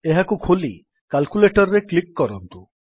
ଏହାକୁ ଖୋଲି କାଲ୍କୁଲେଟର୍ ରେ କ୍ଲିକ୍ କରନ୍ତୁ